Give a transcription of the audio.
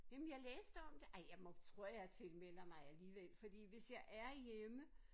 Jamen jeg læste om det ej jeg må tror jeg tilmelder mig alligevel fordi hvis jeg er hjemme